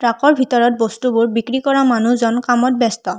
ট্ৰাকৰ ভিতৰত বস্তুবোৰ বিক্ৰী কৰা মানুহজন কামত ব্যস্ত।